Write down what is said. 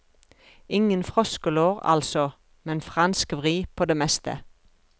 Ingen froskelår, altså, men fransk vri på det meste.